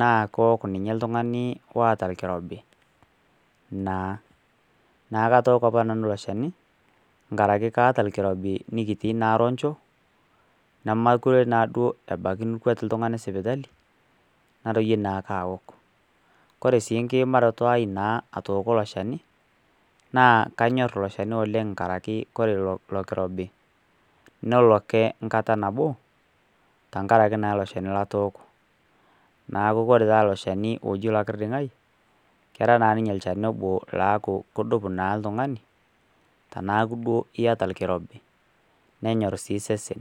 naa kewok ninye oltung'ani oota orkirobi naa neeku katooko apa nanu ilo shani nkaraki kaata orkirobi nikitii naaa roncho nemeekure naaduo ebaiki lino oltung'ani sipitali natorie naake aaok kore sii nkiimaroto aai naa atooko. ilo shani naa kanyor ilo shani oleng inkaraki ole ilo kirobi nelo ake nkata nabo tenkaraki naa ilo shani latooko neeku ore taa ilo shani loji lokirding'ai kera naa ninye ilchani obo loaaku kodup naa oltung'ani tenaaku naa iyata orkirobi nenyor sii sesen.